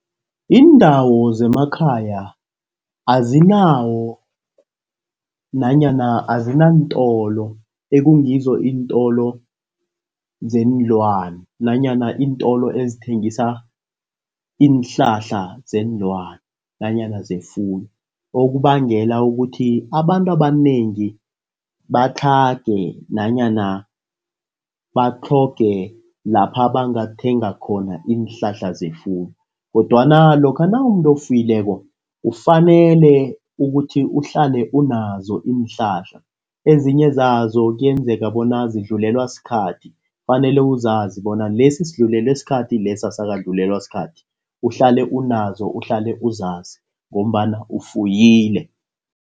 Iindawo zemakhaya azinawo nanyana azinaantolo ekungizo iintolo zeenlwane nanyana iintolo ezithengisa iinhlahla zeenlwane nanyana zefuyo, okubangela ukuthi abantu abanengi batlhage nanyana batlhoge lapha bangathenga khona iinhlahla zefuyo. Kodwana lokha nawumuntu ofuyileko, kufanele ukuthi uhlale unazo iinhlahla ezinye zazo kuyenzeka bona zidlulelwa sikhathi, kufanele uzazi bona lesi sidlulelwe sikhathi lesi asakadlulelwa sikhathi uhlale unazo uhlale uzazi ngombana ufuyile.